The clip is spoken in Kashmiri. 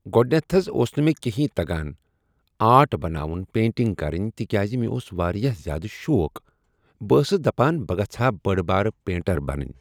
گۄڈٕنٮ۪تھ حظ اوس نہٕ مےٚ کہیٖنۍ تگان آٹ بناوُن پینٹنگ کرٕنۍ تِکیٛازِ مےٚ اوس واریاہ زیادٕ شوق بہٕ أسٕس دپان بہٕ گژھِ ہا بٔڑ بار پینٹر بنٕنۍ۔